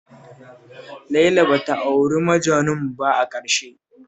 Laila ba ta auri Majanun ba a ƙarshe